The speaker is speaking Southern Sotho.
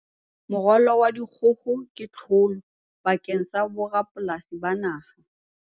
Moralo wa dikgoho ke tlholo bakeng sa borapolasi ba naha